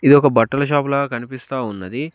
ఇది ఒక బట్టల షాపూలా కనిపిస్తా ఉన్నది.